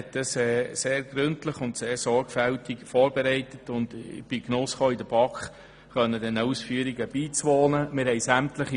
Er hat das gründlich und sehr sorgfältig gemacht, und ich konnte diesen Ausführungen auch in der BaK beiwohnen.